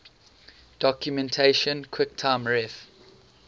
documentation quicktime ref